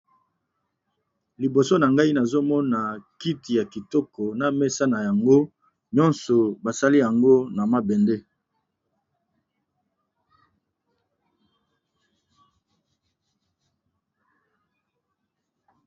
Liboso na ngai nazomona kiti ya kitoko na mesa na yango, pe esalami na mabende